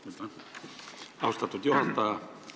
Aitäh, austatud juhataja!